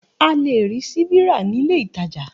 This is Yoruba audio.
A lè rí síbi ra nílé ìtajà